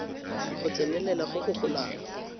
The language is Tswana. go tsenelela go go golang